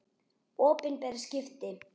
Opinber skipti.